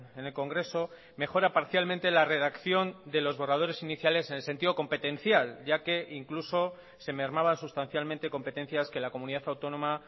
en el congreso mejora parcialmente la redacción de los borradores iniciales en el sentido competencial ya que incluso se mermaban sustancialmente competencias que la comunidad autónoma